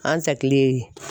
An sɛkili